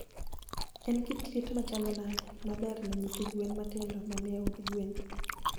En kit liet machalo nade ma ber ne nyithi gwen matindo manie od gwen?